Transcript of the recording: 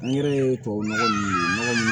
An yɛrɛ ye tubabu nɔgɔ ninnu nɔgɔ munnu